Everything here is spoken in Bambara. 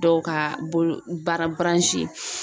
Dɔw ka bolo bara